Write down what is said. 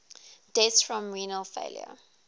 deaths from renal failure